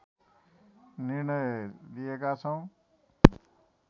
निर्णय लिएका छौँ